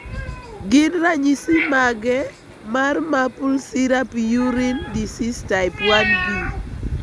Gin ranyisi mage mar Maple syrup urine disease type 1B?